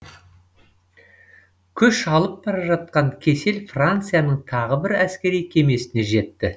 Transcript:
күш алып бара жатқан кесел францияның тағы бір әскери кемесіне жетті